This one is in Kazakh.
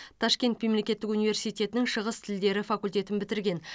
ташкент мемлекеттік университетінің шығыс тілдері факультетін бітірген